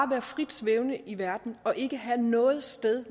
være frit svævende i verden og ikke have noget sted